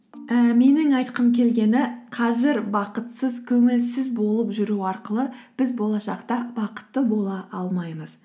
ііі менің айтқым келгені қазір бақытсыз көңілсіз болып жүру арқылы біз болашақта бақытты бола алмаймыз